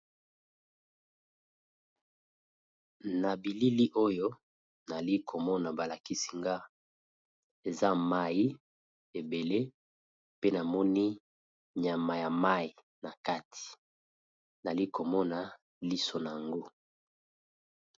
Na bilili oyo nali komona balakisi-nga eza mai ebele pe namoni nyama ya mai na kati nali komona liso na yango.